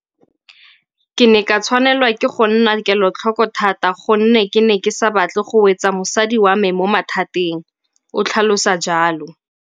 Ke ne ka tshwanelwa ke go nna kelotlhoko thata gonne ke ne ke sa batle go wetsa mosadi wa me mo mathateng, o tlhalosa jalo.